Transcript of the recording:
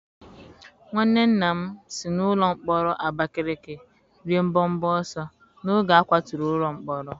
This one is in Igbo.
Nwanne nna m si n'ụlọ mkpọrọ Abakaleke rịe mbọbọ ọsọ n'oge a kwatụrụ ụlọ mkpọrọ.